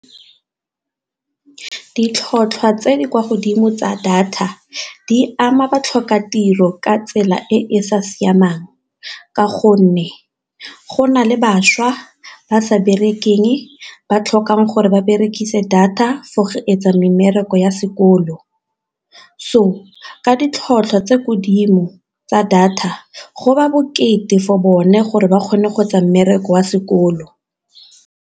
Ditlhotlhwa tse di kwa godimo tsa data di ama batlhokatiro ka tsela e e sa siamang, ka gonne go na le bašwa ba sa bereketseng ba tlhokang gore ba berekise data for go etsa mmereko ya sekolo. So ka ditlhotlhwa tse godimo tsa data go bokete for bone gore ba kgone go etsa mmereko wa sekolo.